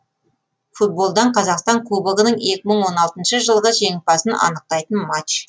футболдан қазақстан кубогының екі мың он алтыншы жылғы жеңімпазын анықтайтын матч